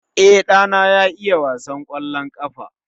E, ɗana ya iya wasan kwallon ƙafa